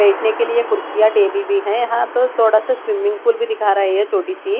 बैठने के लिए कुर्सिया टेबल भी है यहां तो थोड़ा सा स्विमिंग पूल भी दिखा रहा है ये छोटी सी--